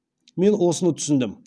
мен осыны түсіндім